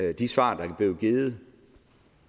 og de svar der er blevet givet